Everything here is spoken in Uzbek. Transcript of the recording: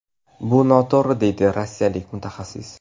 Bu noto‘g‘ri”, deydi rossiyalik mutaxassis.